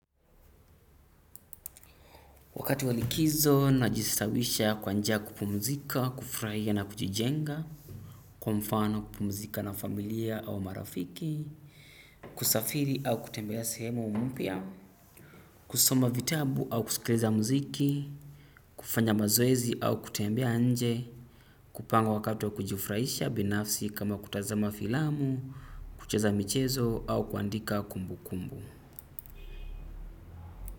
Wakati wa likizo najistawisha kwanjia ya kupumzika, kufraia na kujijenga. Kwa mfano kupumzika na familia au marafiki, kusafiri au kutembea sehemu mpya, kusoma vitabu au kusikiliza mziki, kufanya mazoezi au kutembea nje, kupanga wakati wa kujufraisha binafsi kama kutazama filamu, kucheza michezo au kuandika kumbu kumbu.